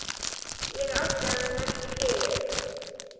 Ég átti hann ekki skilið.